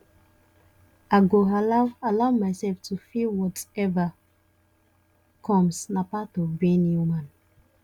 i go allow allow myself to feel whatever comes na part of being human